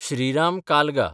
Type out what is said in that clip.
Shriram कालगा